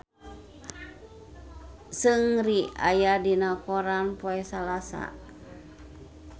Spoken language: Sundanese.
Seungri aya dina koran poe Salasa